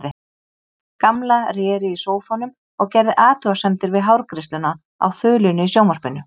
Gamla réri í sófanum og gerði athugasemdir við hárgreiðsluna á þulunni í sjónvarpinu.